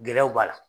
Gɛlɛyaw b'a la